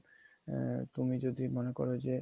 আ~ তুমি যদি মনে করো যে